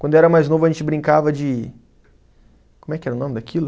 Quando eu era mais novo a gente brincava de como é que era o nome daquilo?